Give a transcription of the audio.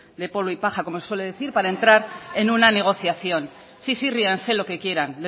de polvo y paja como se suele decir para entrar en una negociación sí sí ríanse lo que quieran